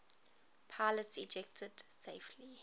pilots ejected safely